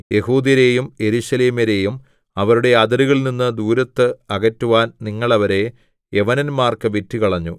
യെഹൂദ്യരെയും യെരൂശലേമ്യരെയും അവരുടെ അതിരുകളിൽനിന്നു ദൂരത്ത് അകറ്റുവാൻ നിങ്ങൾ അവരെ യവനന്മാർക്ക് വിറ്റുകളഞ്ഞു